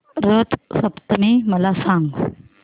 रथ सप्तमी मला सांग